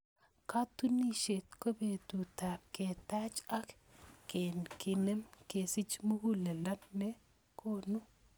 Katunisyet ko betutab ketaach ak kenem, kesich muguleldo ne konu.